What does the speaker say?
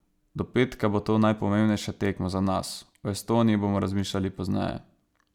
Do petka bo to najpomembnejša tekma za nas, o Estoniji bomo razmišljali pozneje.